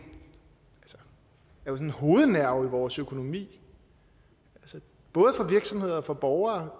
hovednerve i vores økonomi både for virksomheder og for borgere